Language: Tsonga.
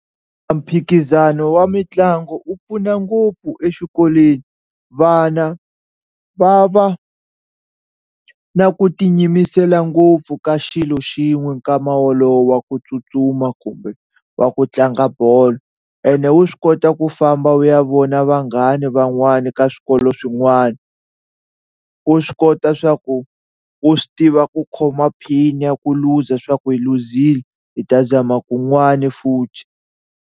A mphikizano wa mitlangu wu pfuna ngopfu exikolweni vana va va na ku ti yimisela ngopfu ka xilo xin'we nkama wolowo wa ku tsutsuma kumbe wa ku tlanga bolo ene wu swi kota ku famba u ya vona vanghana van'wani ka swikolo swin'wani, wu swi kota swa ku u swi tiva ku khoma pain ya ku luza swa ku hi luzile hi ta zama kun'wani futhi.